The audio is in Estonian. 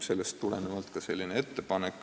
Sellest tulenevalt on tehtud ka selline ettepanek.